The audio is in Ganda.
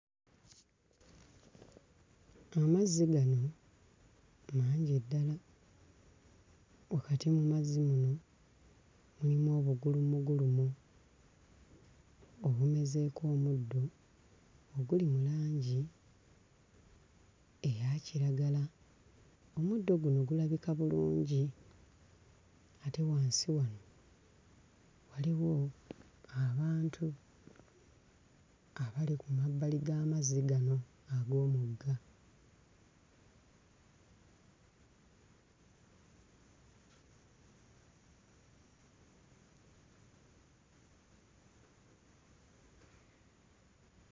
Mu mazzi muno mwe muli eddaga. Wakati mu mazzi muno mulimu obugulumugulumu obumezeeko omuddo oguli mu langi eya kiragala. Omuddo guno gulabika bulungi ate wansi wano waliwo abantu abali ku mabbali g'amazzi gano ag'omugga.